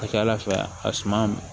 A ka ca ala fɛ a suma